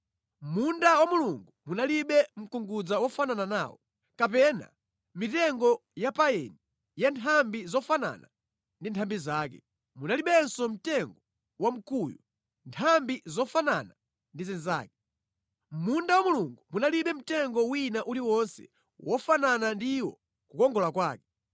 Mʼmunda wa Mulungu munalibe mkungudza wofanana nawo, kapena mitengo ya payini ya nthambi zofanafana ndi nthambi zake. Munalibenso mtengo wa mkuyu nthambi zofanafana ndi zake. Mʼmunda wa Mulungu munalibe mtengo wina uliwonse wofanana ndi iwo kukongola kwake.